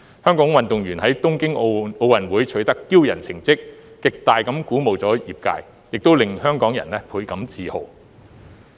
香港運動員在東京奧運會取得驕人的成績，極大地鼓舞了業界，也令香港人倍感自豪。